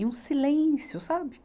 E um silêncio, sabe?